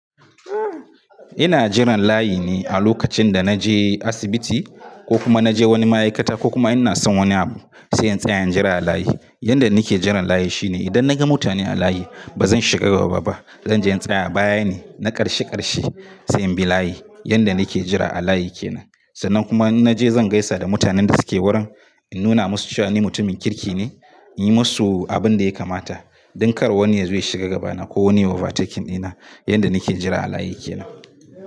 Ina jiran layi ne a lokacin da na je asibiti ko kuma na je wani ma'aikata ko kuma ina son wani abu sai in tsaya in jira a layi. Yanda nake jiran layi shine idan naga mutane a layi ba zan shiga gaba ba. Zanje in tsaya baya ne na ƙarshe ƙarshe sai in bi layi. Yanda nake jira a layi kenan. Sannan kuma in naje zan gaisa da mutanen da suke wurin, in nuna musu cewa ni mutumin kirki ne, in yi musu abin da ya kamata don kar wani ya zo ya shiga gabana ko wani ya over taken dina. Yanda nake jira a layi kenan.